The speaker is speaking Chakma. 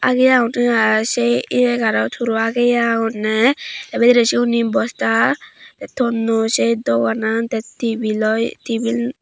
aagi agondey i say iye gaanot huro ageye agonney te bidiray siyun he bosta tey tonnoi say doganan tey tebil oi tebil.